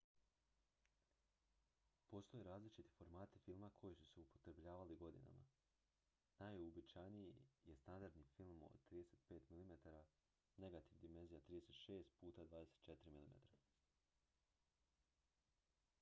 postoje različiti formati filma koji su se upotrebljavali godinama. najuobičajeniji je standardni film od 35 mm negativ dimenzija 36 puta 24 mm